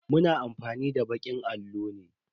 Mu na amfani da bakin allo ne.